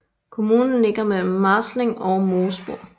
Kommunen ligger mellem Marzling og Moosburg